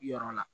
Yɔrɔ la